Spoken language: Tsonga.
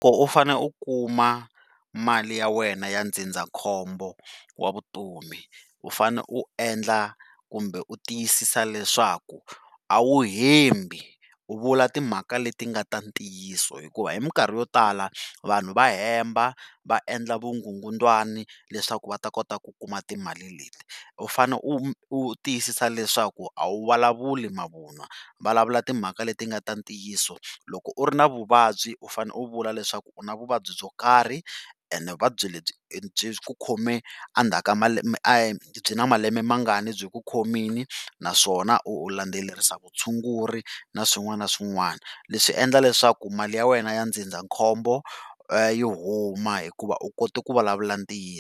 Loko u fane u kuma mali ya wena ya ndzindzakhombo wa vutomi, u fane u endla kumbe u tiyisisa leswaku a wu hembi u vula timhaka leti nga ta ntiyiso hikuva hi minkarhi yo tala vanhu va hemba va endla vukungundzwani leswaku va ta kota ku kuma timali leti. U fane u u tiyisisa leswaku a wu vulavuli mavun'wa, vulavula timhaka leti nga ta ntiyiso. Loko u ri na vuvabyi u fanele u vula leswaku u na vuvabyi byo karhi ene vuvabyi lebyi byi ku khome a ndzhaku ka byi na malembe mangani byi ku khomini naswona u landzelerisa vutshunguri na swin'wana na swin'wana. Leswi endla leswaku mali ya wena ya ndzindzakhombo yi huma hikuva u kote ku vulavula ntiyiso.